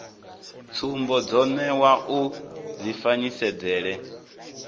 tsumbo dzo newa u dzifanyisedzele